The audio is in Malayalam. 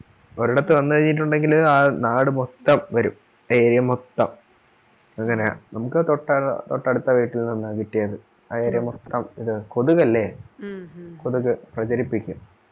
ഒരിടത്തു വന്നു കഴിഞ്ഞിട്ടുണ്ടെങ്കിൽ ആ നാട് മൊത്തം വരും area മൊത്തം അങ്ങനെയാ നമുക്ക് തൊട്ടടു തൊട്ടടുത്ത വീട്ടിൽനിന്നാ കിട്ടിയത് ആ area മൊത്തം ഇതാ കൊതുക് അല്ലെ കൊതുക് പ്രചരിപ്പിക്കും